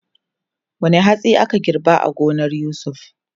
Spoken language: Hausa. Wane hatsi ake girba a gonar Yusuf?